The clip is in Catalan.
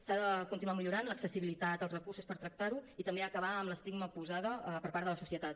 s’ha de continuar millorant l’accessibilitat als recursos per tractar ho i també acabar amb l’estigma posat per part de la societat